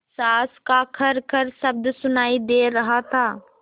साँस का खरखर शब्द सुनाई दे रहा था